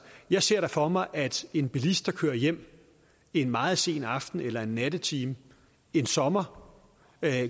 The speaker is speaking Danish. jeg ser da for mig at en bilist der kører hjem en meget sen aften eller nattetime en sommer